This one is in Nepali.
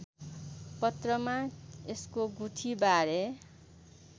पत्रमा यसको गुठीबारे